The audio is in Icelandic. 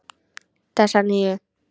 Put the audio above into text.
Þessa nýju.